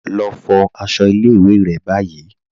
Lọ fo àṣọ̀ ilẹ̀-ìwé̀ rẹ̀ ni báyì